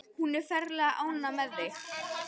Hún er ferlega ánægð með þig.